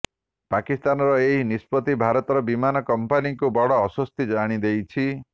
ପାକିସ୍ତାନର ଏହି ନିଷ୍ପତ୍ତି ଭାରତର ବିମାନ କମ୍ପାନୀଙ୍କୁ ବଡ ଆଶ୍ବସ୍ତି ଆଣିଦେଇଛି